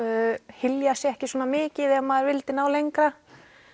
hylja sig ekki svona mikið ef maður vildi ná lengra